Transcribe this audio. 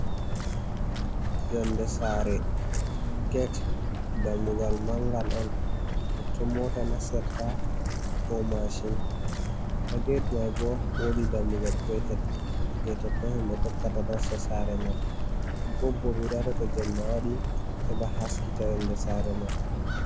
Yonde Sare get Dammugal mangal'on, totton Mota nastirt ko mashin. Ha get mai bo wodi Dammugal petel je totton himɓe tokkata nasta Sare man. Bob bo ɓeɗo waɗa to Jemma waɗi heɓa haskita yonder Sare mai.